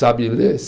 Sabe ler?